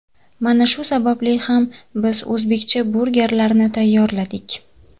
Mana shu sababli ham biz o‘zbekcha burgerlarni tayyorladik.